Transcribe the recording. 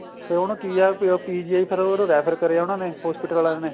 ਤੇ ਹੁਣ ਕੀ ਏ PGIਫੇਰ ਉਹਨੂੰ refer ਕਰਿਆ ਉਹਨਾ ਨੇ hospital ਵਾਲਿਆਂ ਨੇ